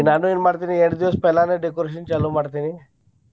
ಈಗ್ ನಾನ್ ಏನ್ ಮಾಡ್ತೇನಿ ಎಂಟ್ ದಿವ್ಸ पहला ನ decoration ಚಾಲೂ ಮಾಡ್ತೇನಿ.